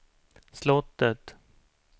slottet